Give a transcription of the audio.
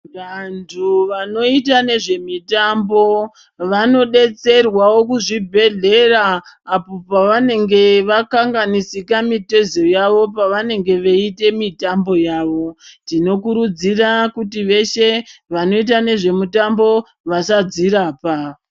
Vandu vanoita nezve mitambo vano betserwawo kuzvi bhehlera apo pavanenge vakanganisika mitezo yavo pavenenge veite mitambo yavo tinokurudzira kuti veshe vanoita nezvemitambo vasadzi rapa.